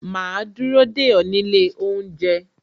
Ma dúró dè ó nílé oúnjẹ